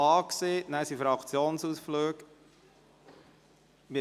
Danach finden die Fraktionsausflüge statt.